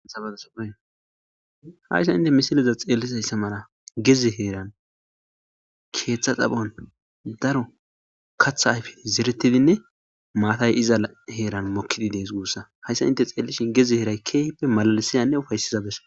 Hayssan nu misileza bolla xeelliza mala gezze heeran keeththa xaphon daro kaththa ayfey zeretidinne maatay iza heeran mokkidi dees guussa. Hayssan hinte xeellishin gezze heeray keehippe mallisiyanne ufaysiza bessa.